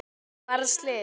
Varð slys?